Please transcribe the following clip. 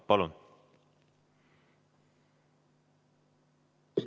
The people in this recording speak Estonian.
Palun!